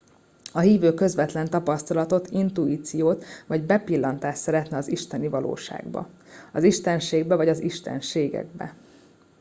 a hívő közvetlen tapasztalatot intuíciót vagy bepillantást szeretne az isteni valóságba az istenségbe vagy a istenségekbe